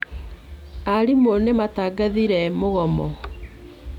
Arimũ nĩ matangathire mũgomo.